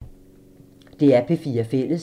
DR P4 Fælles